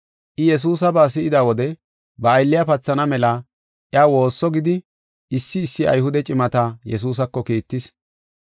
I Yesuusaba si7ida wode ba aylliya pathana mela iya woosso gidi issi issi Ayhude cimata Yesuusako kiittis.